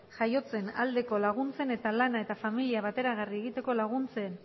jaiotzen aldeko laguntzen eta lana eta familia bateragarri egiteko laguntzen